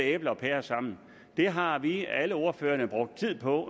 æbler og pærer sammen det har alle ordførerne brugt tid på